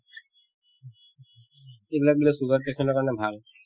এইবিলাক বোলে sugar patient ৰ কাৰণে ভাল